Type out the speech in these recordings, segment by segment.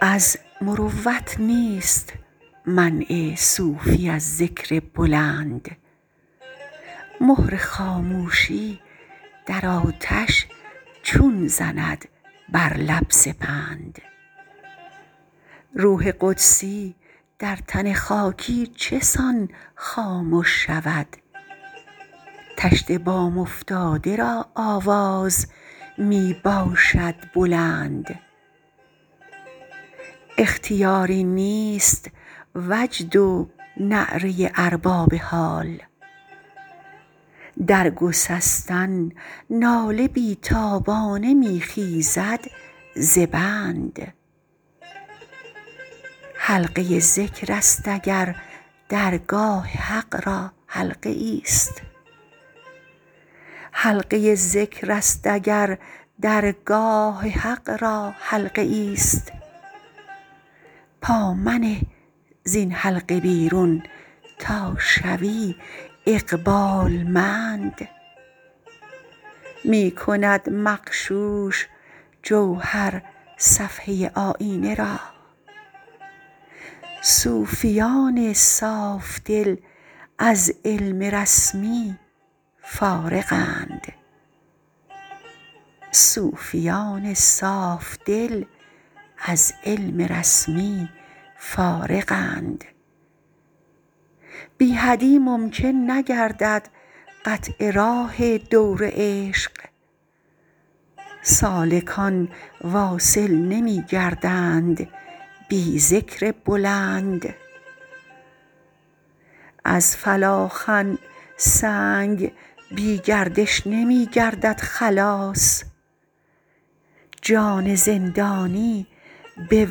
از مروت نیست منع صوفی از ذکر بلند مهر خاموشی در آتش چون زند بر لب سپند روح قدسی در تن خاکی چسان خامش شود طشت بام افتاده را آواز می باشد بلند اختیاری نیست وجد و نعره ارباب حال در گسستن ناله بیتابانه می خیزد زبند حلقه ذکرست اگر در گاه حق را حلقه ای است پامنه زین حلقه بیرون تا شوی اقبالمند می کند مغشوش جوهر صفحه آیینه را صوفیان صافدل از علم رسمی فارغند بی حدی ممکن نگردد قطع راه دور عشق سالکان واصل نمی گردند بی ذکر بلند از فلاخن سنگ بی گردش نمی گردد خلاص جان زندانی به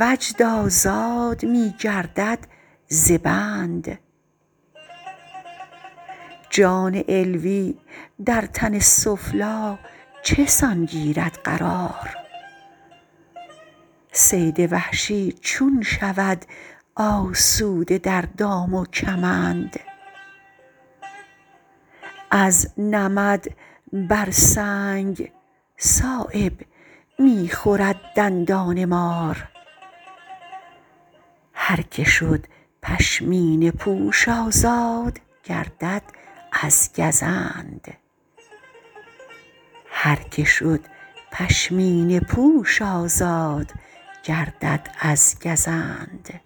وجد آزاد می گردد زبند جان علوی در تن سفلی چسان گیرد قرار صید وحشی چون شود آسوده در دام و کمند از نمد بر سنگ صایب می خورد دندان مار هر که شد پشمینه پوش آزاد گردد از گزند